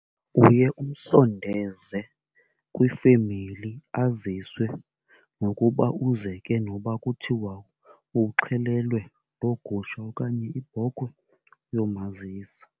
Uye umsondeze kwifemeli, aziswe nokuba uze ke noba kuthiwa uxhelelwe loo gusha okanye ibhokhwe yomazisa.